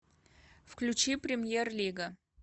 включи премьер лига